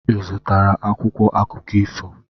Ị zụtara akwụkwọ akụkọ ifo?